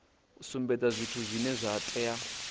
sumbedza zwithu zwine zwa tea